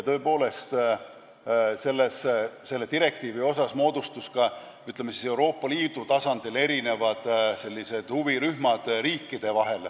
Lisaks moodustusid selle direktiivi osas Euroopa Liidu tasandil riikidest erinevad huvirühmad.